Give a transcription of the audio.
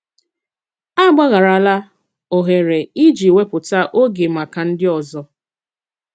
Àgbàghàràlà òhèrè ịjì wépụ̀tà ògè maka ndị ọzọ